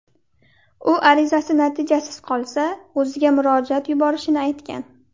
U arizasi natijasiz qolsa, o‘ziga murojaat yuborishini aytgan.